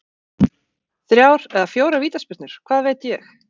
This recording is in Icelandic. Þrjár eða fjórar vítaspyrnur, hvað veit ég?